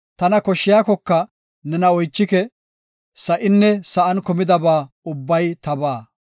Tana koshaykoka nena oychike; sa7inne sa7an kumidaba ubbay tabaa.